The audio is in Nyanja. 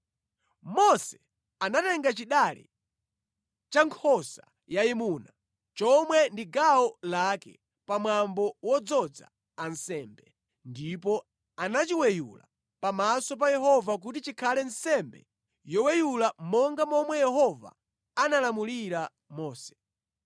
Mose anatenga chidale cha nkhosa yayimuna, chomwe ndi gawo lake pamwambo wodzoza ansembe, ndipo anachiweyula pamaso pa Yehova kuti chikhale nsembe yoweyula monga momwe Yehova analamulira Mose.